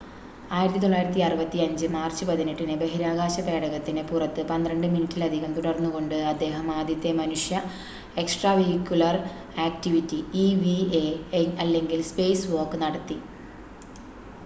"1965 March 18-ന് ബഹിരാകാശ പേടകത്തിന് പുറത്ത് 12 മിനിറ്റിലധികം തുടർന്നുകൊണ്ട് അദ്ദേഹം ആദ്യത്തെ മനുഷ്യ എക്സ്ട്രാവെഹിക്കുലർ ആക്റ്റിവിറ്റി ഇവി‌എ അല്ലെങ്കിൽ "സ്പേസ് വാക്ക്" നടത്തി.